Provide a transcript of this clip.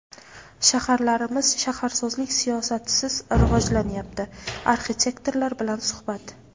"Shaharlarimiz shaharsozlik siyosatisiz rivojlanyapti" - arxitektorlar bilan suhbat.